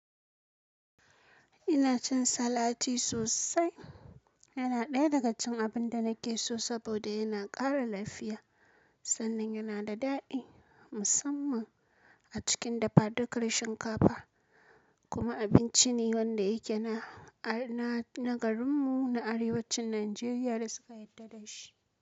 Ina cin salati sosai. Yana ɗaya daga cikin abin da nake so saboda yana ƙara lafiya sannan yana da daɗi musamman a cikin dafadukar shinkafa. Kuma abinci ne wanda yake na, na garinmu na Arewacin Najeriya da suka yarda da shi.